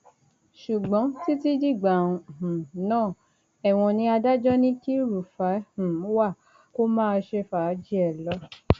ṣùgbọn títí dìgbà um náà ẹwọn ni adájọ ní kí rúfáì um wá kó máa ṣe fàájì ẹ lọ